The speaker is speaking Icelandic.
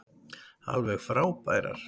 Alveg frábærar.